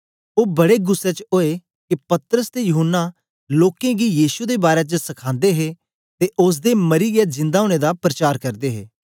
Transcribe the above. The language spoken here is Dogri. ओ बड़े गुस्सै च ओए के पतरस ते यूहन्ना लोकें गी यीशु दे बारै च सखांदे हे ते ओसदे मरीयै जिंदा ओनें दा परचार करदे हे